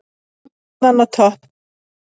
Stjarnan á toppinn